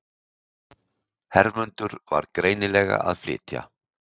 Hermundur var greinilega að flytja.